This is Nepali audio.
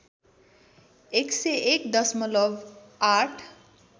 १०१ दशमलब ८